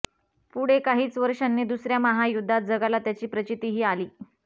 पुढे काहीच वर्षांनी दुसऱ्या महायुद्धात जगाला त्याची प्रचितीही आली